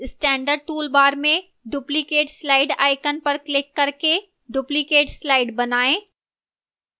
standard toolbar में duplicate slide icon पर click करके duplicate slide बनाएं